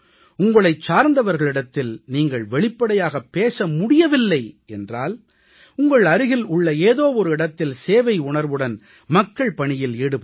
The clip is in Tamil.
உங்களைச் சார்ந்தவர்களிடத்தில் நீங்கள் வெளிப்படையாகப் பேச முடியவில்லை என்றால் உங்கள் அருகில் உள்ள ஏதோ ஒரு இடத்தில் சேவை உணர்வுடன் மக்கள் பணியில் ஈடுபடுங்கள்